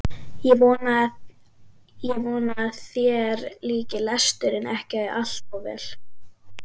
Ég vona að þér líki lesturinn ekki allt of vel.